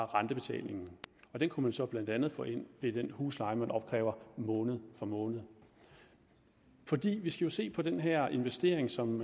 rentebetalingen den kunne man så blandt andet få ind ved den husleje man opkræver måned for måned vi skal se den her investering som